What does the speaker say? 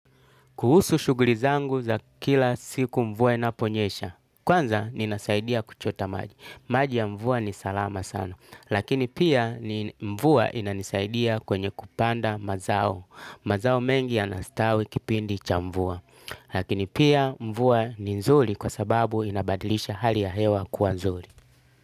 Kuhusu shughli zangu za kila siku mvua inaponyesha. Kwanza, ninasaidia kuchota maji. Maji ya mvua ni salama sana. Lakini pia, mvua inanisaidia kwenye kupanda mazao. Mazao mengi yanastawi kipindi cha mvua. Lakini pia, mvua ni nzuri kwa sababu inabadilisha hali ya hewa kua nzuli.